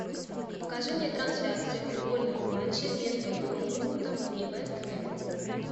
покажи мне трансляцию футбольного матча между борнмутом и вест хэмом